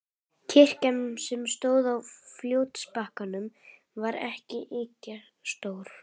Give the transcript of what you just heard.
Kirkjan, sem stóð á fljótsbakkanum, var ekki ýkja stór.